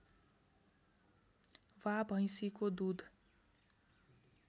वा भैँसीको दूध